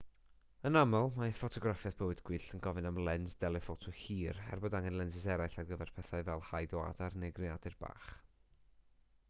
yn aml mae ffotograffiaeth bywyd gwyllt yn gofyn am lens deleffoto hir er bod angen lensys eraill ar gyfer pethau fel haid o adar neu greadur bach